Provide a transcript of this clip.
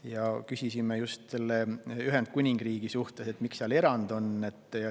Me küsisime just Ühendkuningriigi kohta, miks seal erand on.